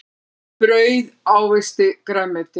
Brauð ávexti grænmeti.